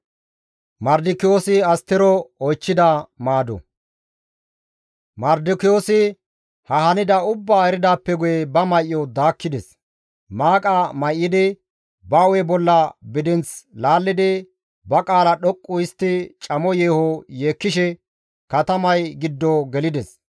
Mardikiyoosi ha hanida ubbaa eridaappe guye ba may7o daakkides; maaqa may7idi, ba hu7e bolla bidinth laallidi, ba qaala dhoqqu histti camo yeeho yeekkishe katamay giddo gelides.